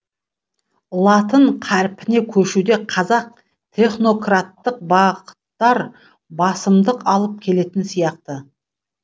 латын қарпіне көшуде қазақ технократтық бағыттар басымдық алып келетін сияқты